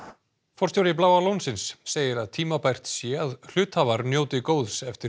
forstjóri Bláa lónsins segir að tímabært sé að hluthafar njóti góðs eftir